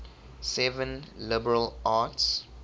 seven liberal arts